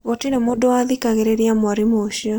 Gũtirĩ mũndũ wathikagĩrĩria mwarimũ ũcio.